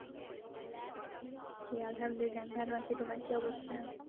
আলহামদুলিল্লাহ। আমি ভালো আছি। তোমার কি অবস্থা?